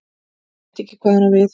Veit ekki hvað hann á við.